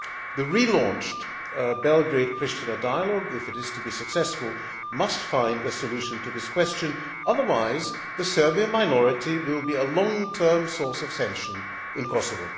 The relaunched Belgrade Pristina dialogue, if it is to be successful, must find a solution to this question. Otherwise, the Serbian minority will be a long term source of tension in Kosovo.